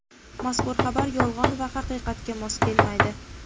Mazkur xabar yolg‘on va haqiqatga mos kelmaydi.